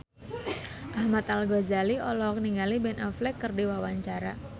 Ahmad Al-Ghazali olohok ningali Ben Affleck keur diwawancara